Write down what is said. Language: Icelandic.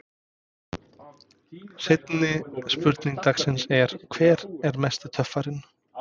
Seinni spurning dagsins er: Hver er mesti töffarinn?